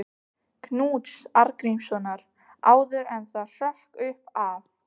Knúts Arngrímssonar, áður en það hrökk upp af.